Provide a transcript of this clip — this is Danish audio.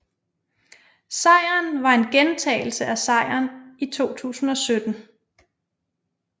Sejren var en gentagelse af sejren i 2017